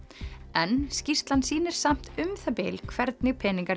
en skýrslan sýnir samt um það bil hvernig peningar